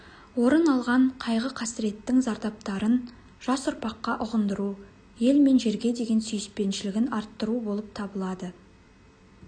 орын алған қайғы-қасіреттің зардаптарын жас ұрпаққа ұғындыру ел мен жерге деген сүйіспеншілігін арттыру болып табылады